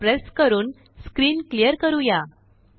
CTRLL press करूनस्क्रीन clear करूया